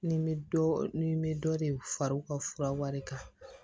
Ni n bɛ dɔ ni n bɛ dɔ de fara u ka fura wari kan